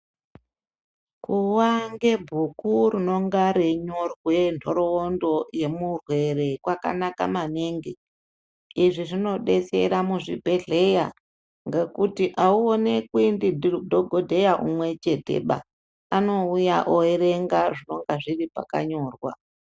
Kuwa ngebhuku rinonga reinyorwe ntoroondo yemurwere kwakanaka maningi. Izvi zvinodetsera muzvibhedhleya ngekuti haunonekwi ndidhogodheya umwe cheteba. Anouya oerenga zvinonga zviri pakanyorwa.